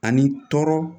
Ani tɔɔrɔ